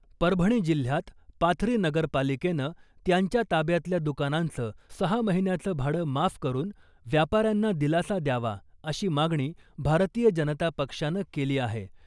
परभणी जिल्ह्यात पाथरी नगरपालिकेनं त्यांच्या ताब्यातल्या दुकानांचं सहा महिन्याचं भाडं माफ करुन व्यापाऱ्यांना दिलासा द्यावा अशी मागणी , भारतीय जनता पक्षानं केली आहे .